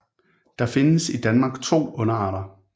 Der findes i Danmark to underarter